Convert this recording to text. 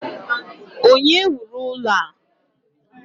Onye wuru ụlọ a?